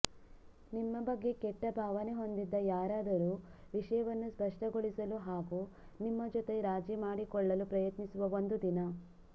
ನಿಮ್ಮ ಬಗ್ಗೆ ಕೆಟ್ಟ ಭಾವನೆಹೊಂದಿದ್ದ ಯಾರಾದರೂ ವಿಷಯವನ್ನು ಸ್ಪಷ್ಟಗೊಳಿಸಲು ಹಾಗೂ ನಿಮ್ಮ ಜೊತೆ ರಾಜಿ ಮಾಡಿಕೊಳ್ಳಲುಪ್ರಯತ್ನಿಸುವ ಒಂದು ದಿನ